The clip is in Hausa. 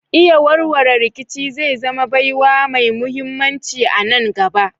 Iya warware rikici zai zama baiwa mai muhimmanci a nan gaba.